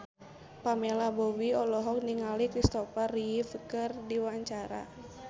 Pamela Bowie olohok ningali Kristopher Reeve keur diwawancara